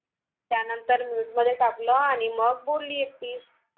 त्यांनतर Mute मध्ये टाकलं आणि मग बोली एकटी